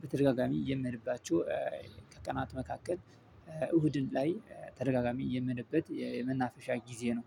በተደጋጋሚ የምሄድባቸው ከቀናት መካከል እሁድን ላይ ተደጋጋሚ የምሄድበት የመናፍሻ ጊዜ ነው።